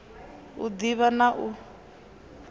u d ivha na u